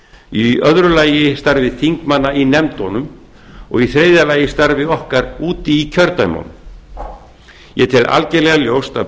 í öðru lagi starfs þingmanna í nefndum og í þriðja lagi starfs okkar úti í kjördæmunum ég tel algerlega ljóst að